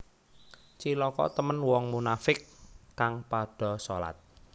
Cilaka temen wong munafiq kang padha solat